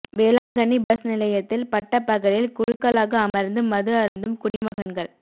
Velankanni bus நிலையத்தில் பட்டப்பகலில் குழுக்களாக அமர்ந்து மது அருந்தும் குடிமகன்கள்